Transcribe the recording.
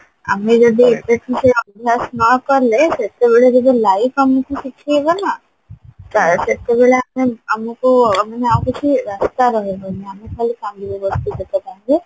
ଆମେ ଯଦି ଏବେ ଠୁ ସେ ଅଭ୍ୟାସ ନକଲେ ସେତେବେଳେ ଯଦି life ଆମକୁ ଶିଖେଇବ ନା ତାହେଲେ ସେତେବେଳେ ଆମେ ଆମକୁ ମାନେ ଆଉ କିଛି ରାସ୍ତା ରହିବନି ଆମେ ଖାଲି କାନ୍ଦିବା ବସିକି ସେଇ time ରେ